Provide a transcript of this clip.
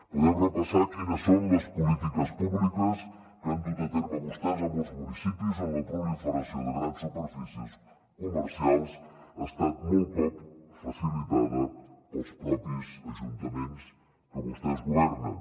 podem repassar quines són les polítiques públiques que han dut a terme vostès a molts municipis on la proliferació de grans superfícies comercials ha estat molt cops facilitada pels propis ajuntaments que vostès governen